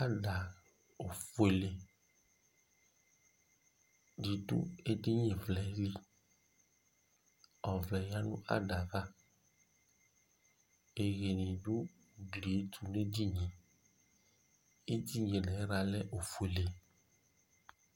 Ada ɔfʋele di du edini vlɛ li Ɔvlɛ ya nʋ ada yɛ ava Iyeyi di ugli ye ɛtu nʋ edini ye Edini nʋ ayiɣla lɛ ɔfʋele